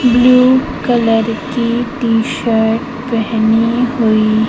green colour की T-shirt पहनी हुई--